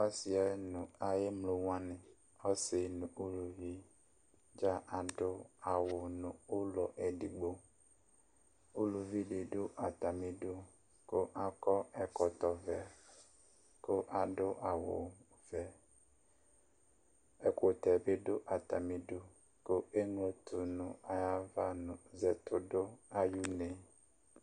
ɔsiɛ nu ayi emlo wʋani ɔsi nu uluvi dza adu awu nu ulɔ edigbo, uluvi di du ata udu ku akɔ ɛkɔtɔ vɛ ku adu awu vɛ, ɛkutɛ bi du ata mi udu ku eɣlotu nu ayava nu zɛtidu ayi une